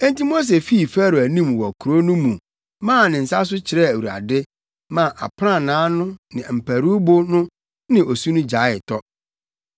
Enti Mose fii Farao anim wɔ kurow no mu maa ne nsa so kyerɛɛ Awurade maa aprannaa no ne mparuwbo no ne osu no gyaee tɔ.